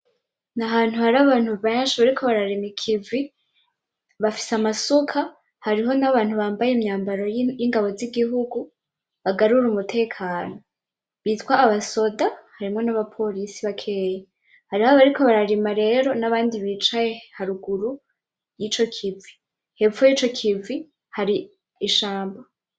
Nahantu hari abantu benshi bariko bararima ikivi, bafise amasuka hariho nabantu babambaye imyambaro yingabo zigihugu bagarura umutekano bitwa abasoda harimwo nabapolisi bakeya, hariho abariko bararima rero nabandi bicaye haruguru yico kivi, hepfo yico kivi hari ishamba.